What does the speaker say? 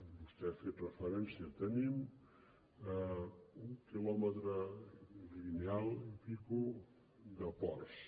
vostè ha fet referència que tenim un quilòmetre lineal i escaig de ports